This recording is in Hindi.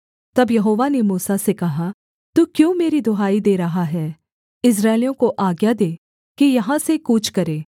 तब यहोवा ने मूसा से कहा तू क्यों मेरी दुहाई दे रहा है इस्राएलियों को आज्ञा दे कि यहाँ से कूच करें